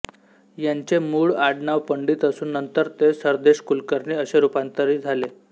यांचे मूळ आडनाव पंडित असून नंतर ते सरदेशकुलकर्णी असे रुपांतरि झाले